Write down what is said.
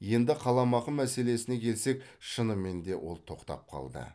енді қаламақы мәселесіне келсек шынымен де ол тоқтап қалды